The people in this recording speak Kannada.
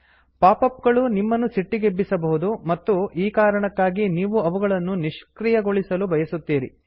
ಪಾಪ್ ಅಪ್ ಗಳು ನಿಮ್ಮನ್ನು ಸಿಟ್ಟಿಗೆಬ್ಬಿಸಬಹುದು ಮತ್ತು ಈ ಕಾರಣಕ್ಕಾಗಿ ನೀವು ಅವುಗಳನ್ನು ನಿಷ್ಕ್ರಿಯಗೊಳಿಸಲು ಬಯಸುತ್ತೀರಿ